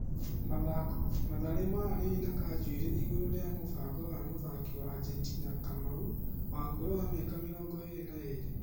(Mathako) Mathare nĩmaranĩirie na Kanjuĩri igũrũ rĩa mũbango wa mũthaki wa Ajentina Kamau, wa ũkũrũ wa mĩaka mĩrongo ĩrĩ na ĩrĩ.